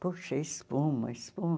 Poxa, espuma, espuma.